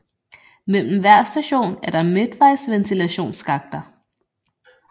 Mellem hver station er der midtvejsventilationsskakter